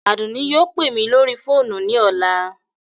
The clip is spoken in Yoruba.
Adunni yóò pe mi lori foonu ni ọla